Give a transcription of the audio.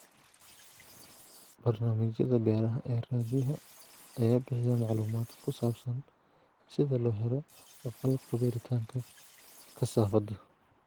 Barnaamijyada beeraha ee raadiyaha ayaa bixiya macluumaadka ku saabsan sida loo helo qalabka beeritaanka kasaafada.